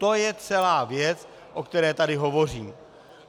To je celá věc, o které tady hovořím.